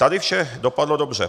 Tady vše dopadlo dobře.